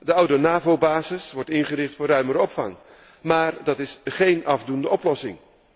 De oude NAVO basis wordt ingericht voor ruimere opvang, maar dat is geen afdoende oplossing.